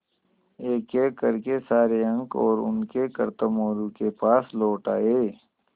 एकएक कर के सारे अंक और उनके करतब मोरू के पास लौट आये